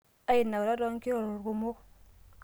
ainaura toonkirrot kumok